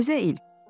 Təzə il.